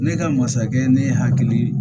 Ne ka masakɛ ne hakili